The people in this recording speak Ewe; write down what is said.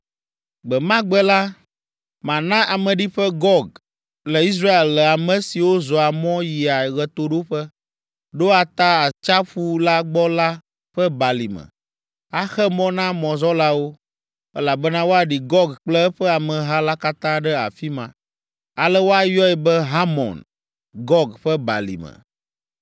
“ ‘Gbe ma gbe la, mana ameɖiƒe Gog le Israel le ame siwo zɔa mɔ yia ɣetoɖoƒe, ɖoa ta Atsiaƒu la gbɔ la ƒe balime. Axe mɔ na mɔzɔlawo, elabena woaɖi Gog kple eƒe ameha la katã ɖe afi ma. Ale woayɔe be Hamɔn Gog ƒe balime.